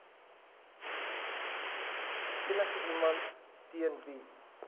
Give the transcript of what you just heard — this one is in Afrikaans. enigiemand teen wie